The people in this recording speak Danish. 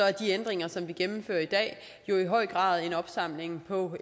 er de ændringer som vi gennemfører i dag i høj grad en opsamling på